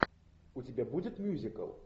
у тебя будет мюзикл